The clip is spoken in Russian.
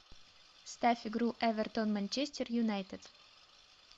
ставь игру эвертон манчестер юнайтед